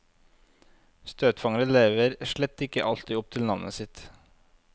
Støtfangere lever slett ikke alltid opp til navnet sitt.